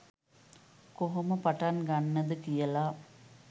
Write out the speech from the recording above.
කොහොම පටන් ගන්නද කියල